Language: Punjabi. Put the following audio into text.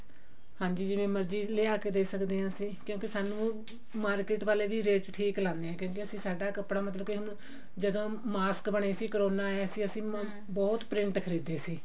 ਹਾਂਜੀ ਜਿਵੇਂ ਮਰਜ਼ੀ ਲਿਆ ਕਿ ਦੇ ਸਕਦੇ ਹਾਂ ਕਿਉਂਕਿ ਸਾਨੂੰ market ਵਾਲੇ ਵੀ rate ਠੀਕ ਲਗਾਉਂਦੇ ਆ ਕਿਉਂਕਿ ਅਸੀਂ ਸਾਡਾ ਕੱਪੜਾ ਜਦੋਂ mask ਬਣੇ ਸੀ corona ਆਇਆ ਸੀ ਅਸੀਂ ਬਹੁਤ print ਖਰੀਦੇ ਸੀ